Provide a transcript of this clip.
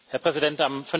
Herr Präsident!